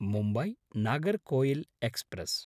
Mumbai-Nagercoil express